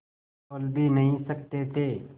बोल भी नहीं सकते थे